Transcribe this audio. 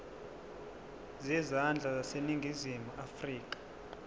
zezandla zaseningizimu afrika